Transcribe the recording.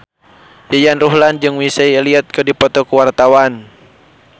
Yayan Ruhlan jeung Missy Elliott keur dipoto ku wartawan